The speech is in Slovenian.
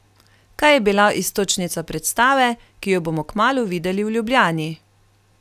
Kaj je bila iztočnica predstave, ki jo bomo kmalu videli v Ljubljani?